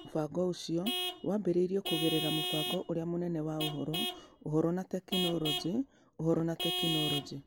Mũbango ũcio waambĩrĩirio kũgerera mũbango ũrĩa mũnene wa Ũhoro, Ũhoro na Teknoroji (Ũhoro na Teknoroji).